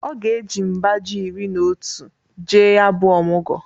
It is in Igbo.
Ọ ga-eji mba ji iri n'otu jee ya bụ ọmụgọ.